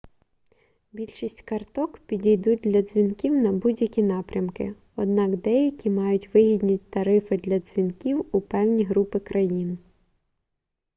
більшість карток підійдуть для дзвінків на будь-які напрямки однак деякі мають вигідні тарифи для дзвінків у певні групи країн